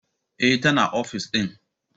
Eh, tana ofis din.